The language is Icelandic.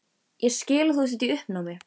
Ég skil að þú sért í uppnámi.